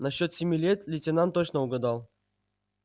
насчёт семи лет лейтенант точно угадал